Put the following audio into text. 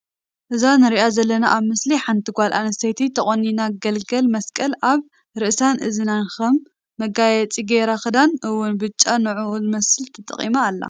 እዛ ንሪኣ ዘለና ኣብ ምስሊ ሓንቲ ጋል ኣንስተይቲ ተቆኒና ገልገለ መስቀል ኣብ ርእሳን እዝናን ክም መጋየፂ ገይራ ክዳና እዉን ብጫ ንዕኡ ዝመስል ተጠቂማ ኣላ።